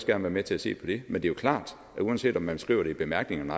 være med til at se på det men det er jo klart at uanset om man skriver det i bemærkningerne